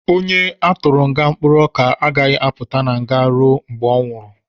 Onye a tụrụ nga mkpụrụ ọka agaghị apụta na nga ruo mgbe ọ nwụrụ